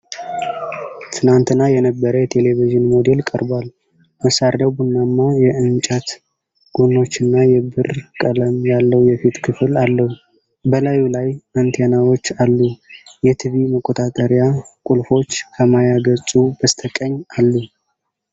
ትናንትና የነበረ የ"ቴሌቪዥን" ሞዴል ቀርቧል። መሣሪያው ቡናማ የእንጨት ጎኖችና የብር ቀለም ያለው የፊት ክፍል አለው። በላዩ ላይ አንቴናዎች አሉ። የ"ቲቪ" መቆጣጠሪያ ቁልፎች ከማያ ገጹ በስተቀኝ አሉ።